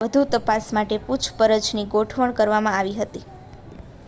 વધુ તપાસ માટે પૂછપરછની ગોઠવણ કરવામાં આવી હતી